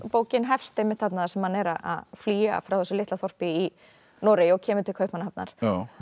bókin hefst einmitt þarna þar sem hann er að flýja frá þessu litla þorpi í Noregi og kemur til Kaupmannahafnar